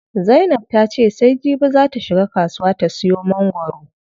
Zainab ta ce sai jibi zaa ta shiga kasuwa ta siyo mangwaro.